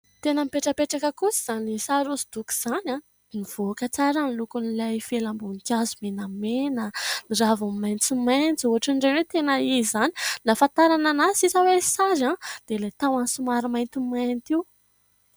Tena mipetrapetraka kosa izany sary hosodoko izany. Mivoaka tsara ny lokon'ilay felam-boninkazo menamena, ny ravony maintsomaintso. Ohatran'ireny hoe tena izy izany. Ny ahafantarana azy sisa hoe sary dia ilay tahony somary mainty mainty io.